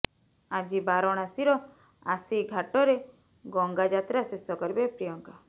ଆଜି ବାରଣାସୀର ଆସି ଘାଟରେ ଗଙ୍ଗା ଯାତ୍ରା ଶେଷ କରିବେ ପ୍ରିୟଙ୍କା